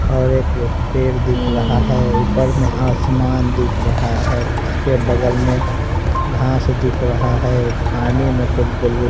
और एक पेड़ दिख रहा है ऊपर आसमान मे दिख रहा है इसके बगल में घास दिख रहा है पानी में कुछ बुलबुल --